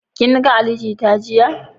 Kin ga Ali Jita jiya?